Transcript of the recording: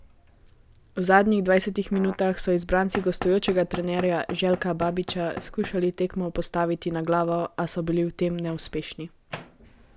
V zadnjih dvajsetih minutah so izbranci gostujočega trenerja Željka Babića skušali tekmo postaviti na glavo, a so bili v tem neuspešni.